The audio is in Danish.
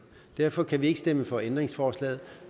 derfor kan vi ikke stemme for ændringsforslaget